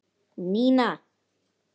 Nína!